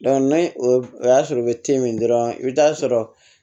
ni o y'a sɔrɔ u bɛ min dɔrɔn i bɛ taa sɔrɔ